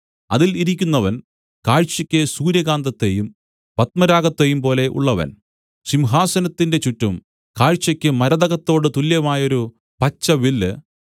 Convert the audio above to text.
അതിൽ ഇരിക്കുന്നവൻ കാഴ്ചയ്ക്ക് സൂര്യകാന്തത്തേയും പത്മരാഗത്തേയും പോലെ ഉള്ളവൻ സിംഹാസനത്തിന്റെ ചുറ്റും കാഴ്ചയ്ക്ക് മരതകത്തോടു തുല്യമായൊരു പച്ചവില്ല്